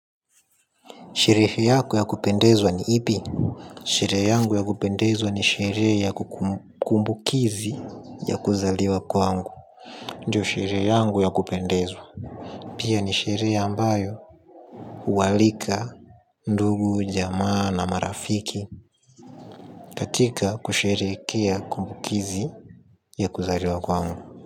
Sherehe yako ya kupendezwa ni ipi? Sherehe yangu ya kupendezwa ni sherehe ya kumbukizi ya kuzaliwa kwangu. Ndiyo sherehe yangu ya kupendezwa. Pia ni sherehe ambayo huwaalika, ndugu, jamaa na marafiki. Katika kusherehekea kumbukizi ya kuzaliwa kwangu.